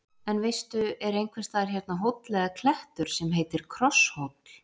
En veistu, er einhvers staðar hérna hóll eða klettur sem heitir Krosshóll?